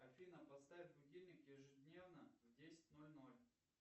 афина поставь будильник ежедневно в десять ноль ноль